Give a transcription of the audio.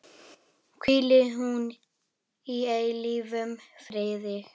Hvíli hún í eilífum friði.